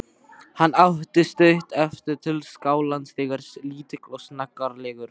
Hann átti stutt eftir til skálans þegar lítill og snaggaralegur